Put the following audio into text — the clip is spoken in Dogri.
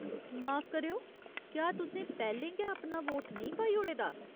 माफ करेओ, क्या तुसें पैह्‌लें गै अपना वोट नेईं पाई ओड़े दा ?